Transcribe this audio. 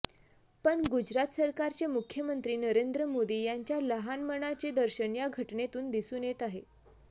पण गुजरात सरकारचे मुख्यमंत्री नरेंद्र मोदी यांच्या लहान मनाचे दर्शन या घटनेतून दिसून येत आहे